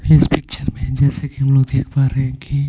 इस पिक्चर में जैस कि हम लोग देख पा रहे हैं कि.